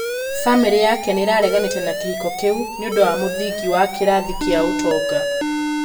Bamĩrĩ yake nĩĩrareganĩte na kĩhĩko kĩu nĩũndũ wa muthingi wa kĩrathi kia ũtonga.